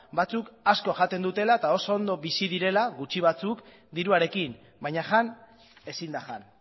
batzuk asko jaten dutela eta oso ondo bizi direla gutxi batzuk diruarekin baina jan ezin da jan